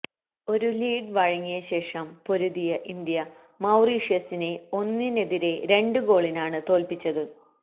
ഒരു ലീഡ് വഴങ്ങിയശേഷം പൊരുതിയ ഇന്ത്യ മൌറീഷ്യസിനെ ഒന്നിനെതിരെ രണ്ട് ഗോളിനാണ് തോല്പിച്ചത്